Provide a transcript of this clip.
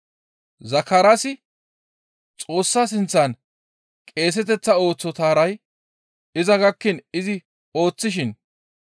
Zakaraasi Xoossa sinththan qeeseteththa ooso taray iza gakkiin izi ooththishin